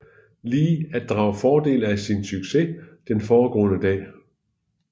Lee at drage fordel af sin succes den foregående dag